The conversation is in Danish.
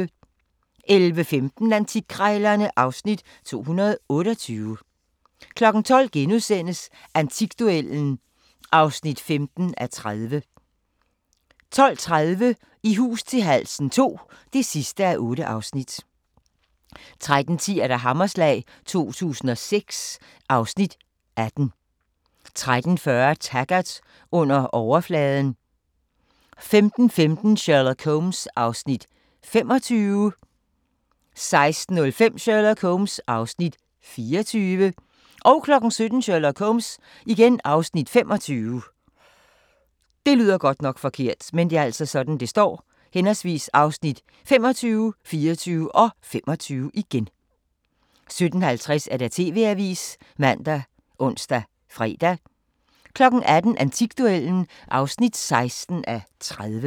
11:15: Antikkrejlerne (Afs. 228) 12:00: Antikduellen (15:30)* 12:30: I hus til halsen II (8:8) 13:10: Hammerslag 2006 (Afs. 18) 13:40: Taggart: Under overfladen 15:15: Sherlock Holmes (Afs. 25) 16:05: Sherlock Holmes (Afs. 24) 17:00: Sherlock Holmes (Afs. 25) 17:50: TV-avisen ( man, ons, fre) 18:00: Antikduellen (16:30)